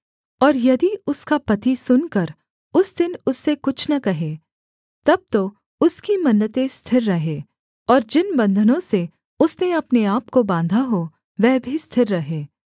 और यदि उसका पति सुनकर उस दिन उससे कुछ न कहे तब तो उसकी मन्नतें स्थिर रहें और जिन बन्धनों से उसने अपने आपको बाँधा हो वह भी स्थिर रहें